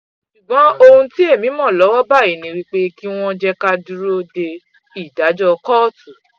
ṣùgbọ́n ohun témi mọ́ lọ́wọ́ báyìí ni pé kí wọ́n jẹ́ ká a dúró de ìdájọ́ kóòtù